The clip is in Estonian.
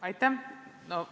Aitäh!